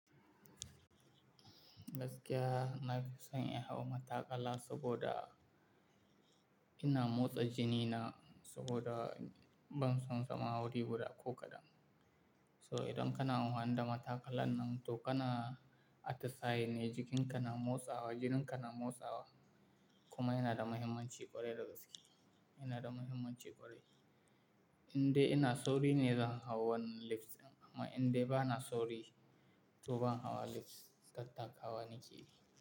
Gaskiya na fi son in hau mataƙala saboda ina motsa jini na saboda ban son zama wuri guda ko kaɗan. So idan kana anfani da mataƙalan nan to kana atisaye ne jikin ka na motsawa, jinin ka na motsawa kuma yana da muhimmanci ƙwarai da gaske, yana da muhimmanci ƙwarai. Indai ina sauri ne zan hau wannan lift ɗin amma indai ba na sauri to ban hawa lift tattakawa ni ke yi.